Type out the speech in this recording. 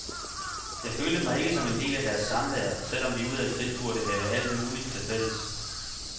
Jeg følte mig ikke som en del af deres samvær, selv om vi udadtil burde have alt muligt til fælles.